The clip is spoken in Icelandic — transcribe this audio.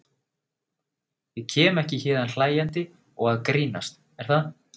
Ég kem ekki héðan hlæjandi og að grínast, er það?